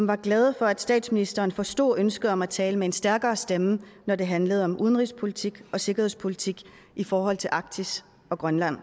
var glade for at statsministeren forstod ønsket om at tale med en stærkere stemme når det handler om udenrigspolitik og sikkerhedspolitik i forhold til arktis og grønland